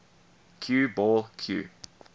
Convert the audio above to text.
cue ball cue